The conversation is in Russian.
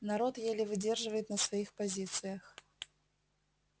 народ еле выдерживает на своих позициях